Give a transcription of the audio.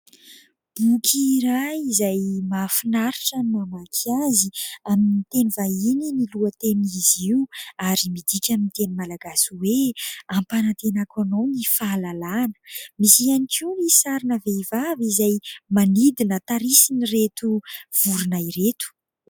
Boky iray izay mahafinaritra ny mamaky azy. Amin'ny teny vahiny ny lohatenin'izy io ary midika amin'ny teny malagasy hoe "Ampanantenako anao ny fahalalahana". Misy ihany koa ny sarina vehivavy izay manidina tarihin'ireto vorona ireto.